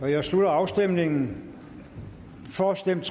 jeg slutter afstemningen for stemte